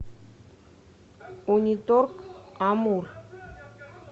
униторг амур